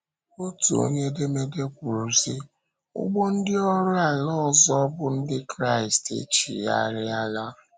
Otu onye edemede kwuru, sị: “Ụgbọ ndị ọrụ ala ọzọ bụ́ Ndị Kraịst e chigharịala.”